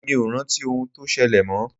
Èmi ò rántí ohun tó ṣẹlẹ̀ mọ́.